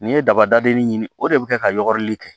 N'i ye daba dadini ɲini o de bɛ kɛ ka yɔrɔni kɛ